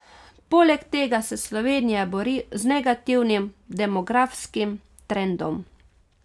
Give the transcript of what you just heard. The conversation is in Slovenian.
Poleg tega se Slovenija bori z negativnim demografskim trendom.